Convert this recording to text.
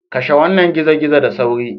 Kashe wannan gizo-gizo da sauri.